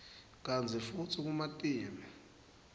kantsi futsi kumatima